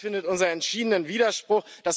Das findet unseren entschiedenen Widerspruch.